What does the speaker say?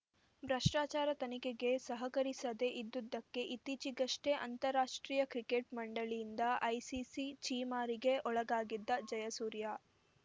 ಭ್ರಷ್ಟಾಚಾರ ತನಿಖೆಗೆ ಸಹಕರಿಸದೇ ಇದ್ದುದಕ್ಕೆ ಇತ್ತೀಚೆಗಷ್ಟೇ ಅಂತಾರಾಷ್ಟ್ರೀಯ ಕ್ರಿಕೆಟ್‌ ಮಂಡಳಿಯಿಂದ ಐಸಿಸಿ ಛೀಮಾರಿಗೆ ಒಳಗಾಗಿದ್ದ ಜಯಸೂರ್ಯ